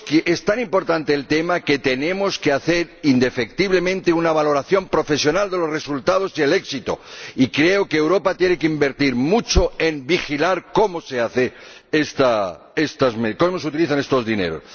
Es tan importante este tema que tenemos que hacer indefectiblemente una valoración profesional de los resultados y del éxito, y creo que Europa tiene que invertir mucho en vigilar cómo se utilizan estos dineros.